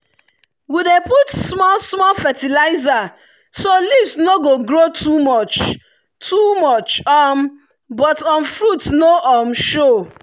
we dey put small small fertilizer so leaves no go grow too much too much um but um fruits no um show.